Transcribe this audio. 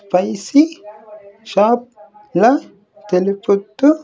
Spicy shop లా తెలుపుతూ.